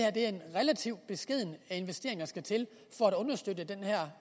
relativt beskeden investering der skal til for at understøtte den her